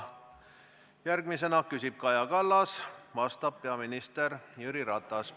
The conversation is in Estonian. Järgmisena küsib Kaja Kallas ja vastab peaminister Jüri Ratas.